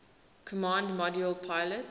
command module pilot